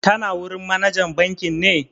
Tana wurin manajan bankin ne?